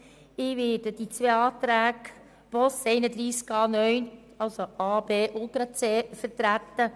Ich werde zu allen Rückweisungsanträgen Boss sprechen.